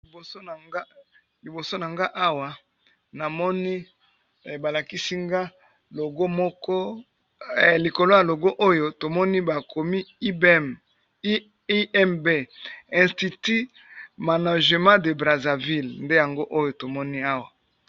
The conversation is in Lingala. Liboso nangai Awa namoni balakisi ngai logo moko, likolo ya logo bakomi IMB institut manager de Brazzaville .